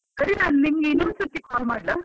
ಹೌದು ಸರಿನೆ ನಿಂಗೆ ಇನ್ನೊಂದು ಸರ್ತಿ call ಮಾಡ್ಲಾ?